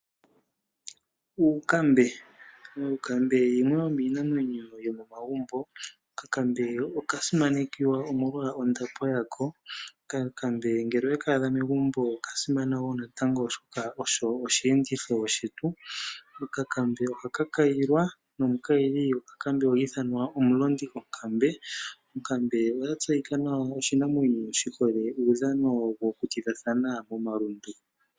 Uunkambe oyo yimwe yomiinamwenyo yomomagumbo. Okankambe okasimanekwa omolwa ondapo yako. Okankambe ngele owe kaadha megumbo okasimana oshoka osho oshiyenditho shetu . Ohaka kayilwa, nomukayili gokakambe ohi ithanwa omulondi gonkambe. Oya tseyika nawa oshinamwenyo uudhano wokutidhathana momalundu.